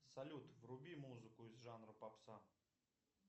салют вруби музыку из жанра попса